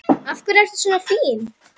Af hverju ertu svona fín?